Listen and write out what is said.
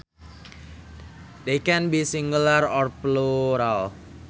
They can be singular or plural